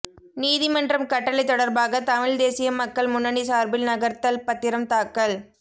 நீதிமன்றம் கட்டளை தொடர்பாக தமிழ் தேசிய மக்கள் முன்னணி சார்பில் நகர்த்தல் பத்திரம் தாக்கல்